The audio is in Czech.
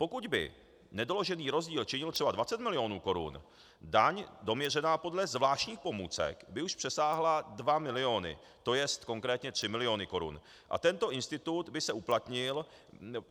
Pokud by nedoložený rozdíl činil třeba 20 milionů korun, daň doměřená podle zvláštních pomůcek by už přesáhla 2 miliony, to je konkrétně 3 miliony korun, a tento institut by se uplatnil;